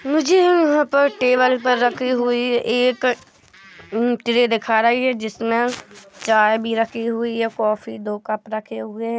मुझे यहाँ पर टेबल पर रखी हुई एक दिखा रही है जिसमें चाय भी रखी हुई हैकॉफी दो कप रखे हुए हैं।